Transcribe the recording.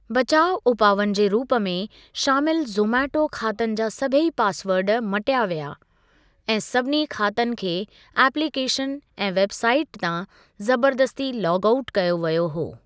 बचाव उपावनि जे रूप में, शामिल ज़ोमेटो खातनि जा सभेई पासवर्ड मटिया विया, ऐं सभिनी खातनि खे एप्लिकेशन ऐं वेबसाइट तां जबरदस्ती लॉग आउट कयो वियो हो।